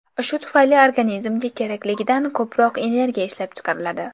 Shu tufayli organizmga kerakligidan ko‘proq energiya ishlab chiqariladi.